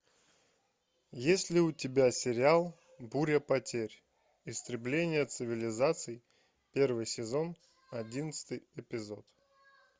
есть ли у тебя сериал буря потерь истребление цивилизации первый сезон одиннадцатый эпизод